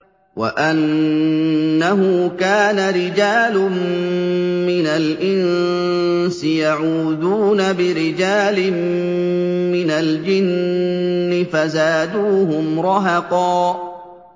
وَأَنَّهُ كَانَ رِجَالٌ مِّنَ الْإِنسِ يَعُوذُونَ بِرِجَالٍ مِّنَ الْجِنِّ فَزَادُوهُمْ رَهَقًا